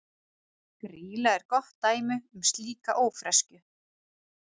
Grýla er gott dæmi um slíka ófreskju.